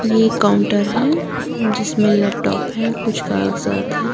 ये काउंटर है जिसमें लैपटॉप है कुछ कागजात है।